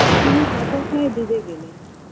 তিনি হতাশায় ডুবে গেলেন